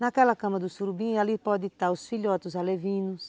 Naquela cama do surubim ali podem estar os filhotos alevinos,